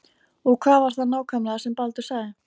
Og hvað var það nákvæmlega sem Baldur sagði?